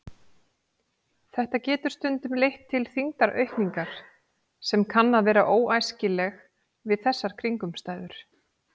Þetta getur stundum leitt til þyngdaraukningar sem kann að vera óæskileg við þessar kringumstæður.